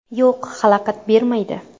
Yo‘q, xalaqit bermaydi.